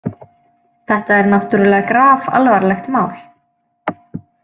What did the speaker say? Þetta er náttúrlega grafalvarlegt mál.